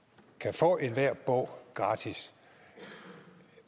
få enhver bog gratis